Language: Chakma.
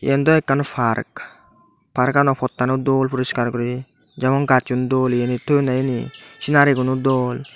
yan do ekkan park parkano pottano dol puriskar guri jemon gacchon dol yanit toyonne yani scenariguno dol.